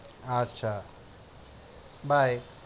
আচ্ছা, bye